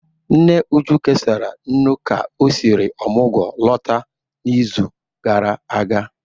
Nne Uju kesara nnu ka o siri omugwu lọta n'izu gara aga